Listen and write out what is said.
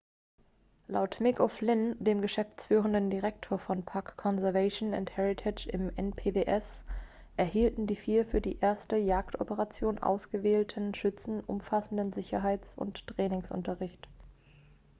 laut mick o'flynn dem geschäftsführenden direktor von park conservation and heritage im npws erhielten die vier für die erste jagdoperation ausgewählten schützen umfassenden sicherheits und trainingsunterricht